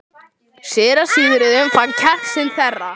Síra Sigurður fann kjark sinn þverra.